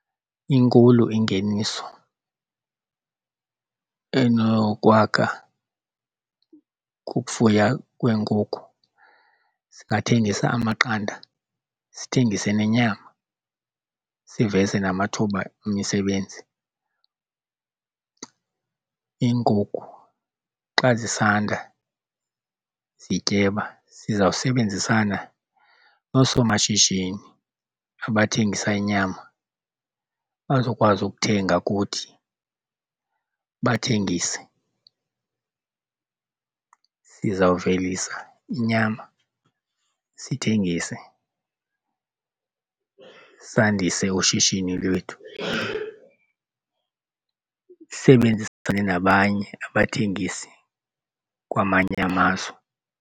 Inkulu ingeniso enokwakha kukufuya kweenkukhu. Singathengisa amaqanda sithengise nenyama siveze namathuba emisebenzi. Iinkukhu xa zisanda zityeba zizawubenzisana noosomashishini abathengisa inyama bazokwazi ukuthenga kuthi bathengise. Sizawuvelisa inyama sithengise, sandise ushishini lwethu. Sisebenzisane nabanye abathengisi kwamanye amazwe.